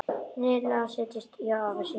Lilla settist hjá afa sínum.